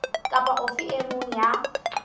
kapa ofe e mong ya